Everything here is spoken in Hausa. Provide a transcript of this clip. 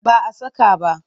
Ba a saka ba.